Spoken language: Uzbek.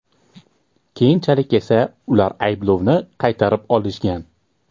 Keyinchalik esa ular ayblovni qaytarib olishgan.